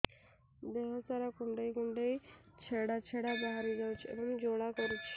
ଦେହ ସାରା କୁଣ୍ଡେଇ କୁଣ୍ଡେଇ ଛେଡ଼ା ଛେଡ଼ା ବାହାରି ଯାଉଛି ଏବଂ ଜ୍ୱାଳା କରୁଛି